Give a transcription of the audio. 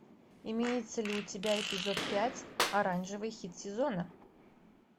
имеется ли у тебя эпизод пять оранжевый хит сезона